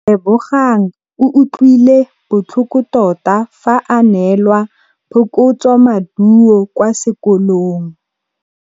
Lebogang o utlwile botlhoko tota fa a neelwa phokotsômaduô kwa sekolong.